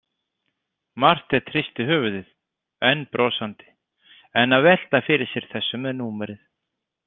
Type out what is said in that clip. Marteinn hristi höfuðið, enn brosandi, enn að velta fyrir sér þessu með númerið.